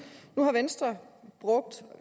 har venstre brugt